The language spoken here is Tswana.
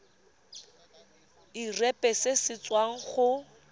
irp se se tswang go